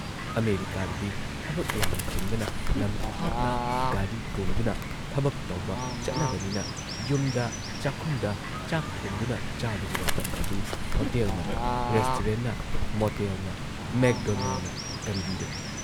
ꯑꯃꯦꯔꯤꯀꯥꯗꯗꯤ ꯊꯕꯛ ꯌꯥꯝꯅ ꯆꯤꯟꯕꯅ ꯂꯝ ꯊꯥꯞꯅ ꯒꯥꯔꯤ ꯇꯣꯡꯗꯨꯅ ꯊꯕꯛ ꯇꯧꯕ ꯆꯠꯅꯕꯅꯤꯅ ꯌꯨꯝꯗ ꯆꯥꯛꯈꯨꯝꯗ ꯆꯥꯛ ꯊꯣꯡꯗꯨꯅ ꯆꯥꯕꯒꯤ ꯃꯇꯝ ꯑꯗꯨ ꯍꯣꯇꯦꯜꯅ, ꯔꯦꯁꯇꯨꯔꯦꯟꯠꯅ, ꯃꯣꯇꯦꯜꯅ, ꯃꯦꯛꯗꯣꯅꯦꯜꯅ ꯀꯟꯕꯤꯔꯦ ꯫